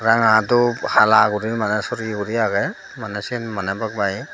ranga dhup hala guri mane soreyi guri age mane sen mane baat bagi.